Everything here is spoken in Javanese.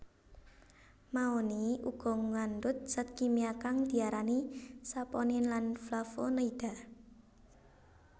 Mahoni uga ngandhut zat kimia kang diarani Saponin lan flavonoida